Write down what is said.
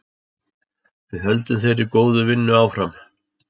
Við höldum þeirri góðu vinnu áfram.